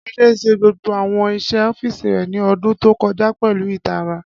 Ade ṣe gbogbo awọn iṣẹ ọfíìsì rẹ ni ọdun to kọja pẹlu itara.